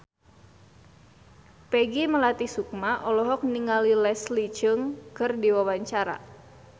Peggy Melati Sukma olohok ningali Leslie Cheung keur diwawancara